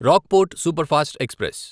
Rockfort superfast express